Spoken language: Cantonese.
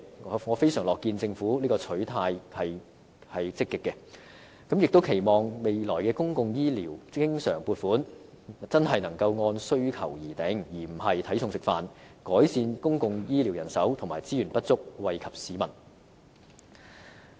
我非常樂見政府的取態積極，亦期望未來公共醫療經常撥款真的能按需求而定，而不是"睇餸食飯"，以改善公共醫療人手和資源不足，惠及市民。